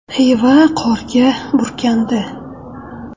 Xiva qorga burkandi.